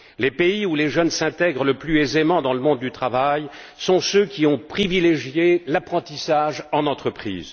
Les pays où les jeunes s'intègrent le plus aisément dans le monde du travail sont ceux qui ont privilégié l'apprentissage en entreprise.